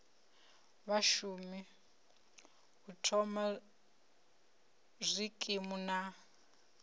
vhashumi u thoma zwikimu na